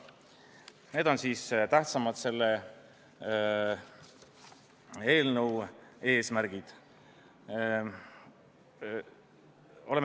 Need on selle eelnõu tähtsamad eesmärgid.